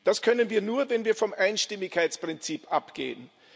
Das können wir nur, wenn wir vom Einstimmigkeitsprinzip abgehen.